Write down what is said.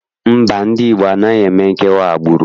Mba, ndị Igbo anaghị eme nkewa agbụrụ.